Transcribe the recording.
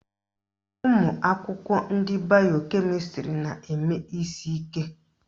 Ụmụakwụkwọ ndị bayo kemịstrị na-eme isi ike.